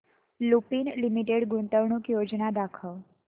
लुपिन लिमिटेड गुंतवणूक योजना दाखव